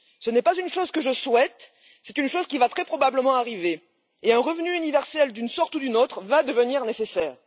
Ce n'est pas une chose que je souhaite, c'est une chose qui va très probablement arriver et un revenu universel d'une sorte ou d'une autre va devenir nécessaire.